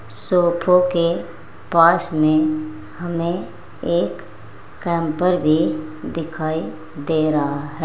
सोफो के पास मे हमें एक कैम्पर भी दिखाई दे रहा है।